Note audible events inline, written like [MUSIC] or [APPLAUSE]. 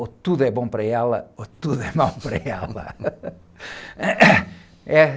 É, ou tudo é bom para ela ou tudo é mau para ela. [LAUGHS]